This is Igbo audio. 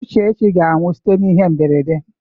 Uchechi ga-anwụ site n'ihe mberede.